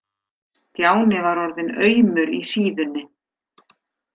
Stjáni var orðinn aumur í síðunni.